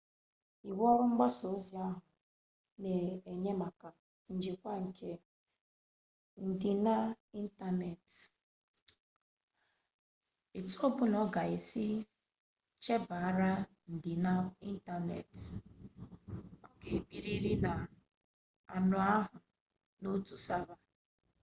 iwu ọrụ mgbasa ozi ahụ na-enye maka njikwa nke ndịna ịntaneetị etu ọ bụla a ga-esi echebara ndịna ịntaneetị ọ ga-ebirịrị n'anụ ahụ n'otu sava